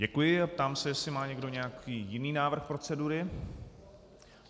Děkuji a ptám se, jestli má někdo nějaký jiný návrh procedury.